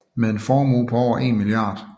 Med en formue på over 1 mia